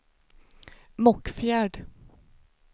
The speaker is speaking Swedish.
Mockfjärd